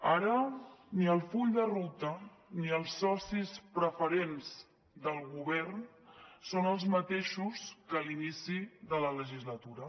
ara ni el full de ruta ni els socis preferents del govern són els mateixos que a l’inici de la legislatura